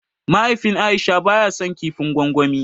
Mahaifin aisha ba ya san kifin gwangwani